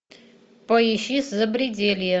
поищи запределье